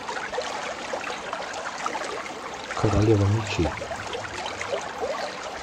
королева мечей